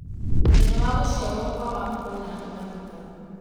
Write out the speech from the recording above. mũthenya wa gũciarwo kwa macdonald mariga